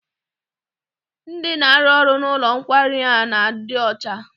Ndị na-arụ n'ụlọ nkwari a na-adị ọcha.